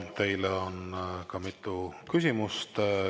Teile on ka mitu küsimust.